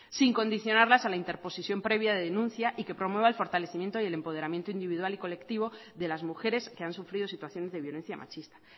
sin condicionarlas a la interposición previa de denuncia y que promueva el fortalecimiento y el empoderamiento individual y colectivo de las mujeres que han sufrido situaciones de violencia machista